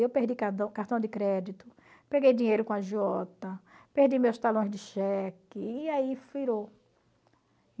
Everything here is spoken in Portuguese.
Eu perdi cartão cartão de crédito, peguei dinheiro com agiota, perdi meus talões de cheque e aí